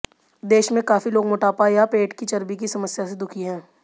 देश में काफी लोग मोटापा या पेट की चर्बी की समस्या से दुखी हैं